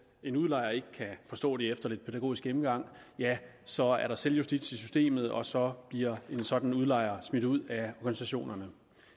en udlejer ikke kan forstå det efter lidt pædagogisk gennemgang ja så er der selvjustits i systemet og så bliver en sådan udlejer smidt ud af organisationerne